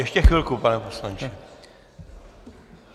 Ještě chvilku, pane poslanče.